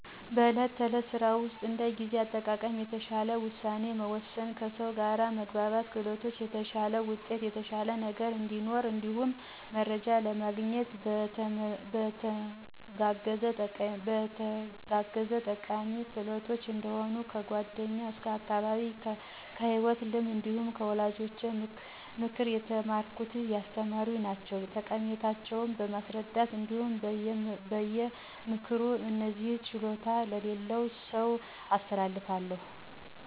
በዕለት ተዕለት ስራ ውስጥ እንደ ጊዜ አጠቃቀም፣ የተሻለ ውሳኔ መወሰን፣ ከሰው ጋር መግባባት ክህሎቶች የተሻለ ውጤት የተሻለ ነገ እዲኖረን እንዲሁም መረጃ ለማግኘት ለመተጋገዝ ጠቃሚ ክህሎቶች እንደሆኑ ከ ጓደኛ ከ አካባቢየ ከ ሂወት ልምድ እንዲሁም ከ ወላጆቼ ምክር የተማረኩት ያስተማሩ ናቸዉ። ጠቀሜታቸው በማስረዳት እንዲሁም በ ምክር እነዚህን ችሎታዎች ለሌላ ሰው አስተላልፋለሁ።